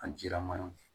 A jilaman ye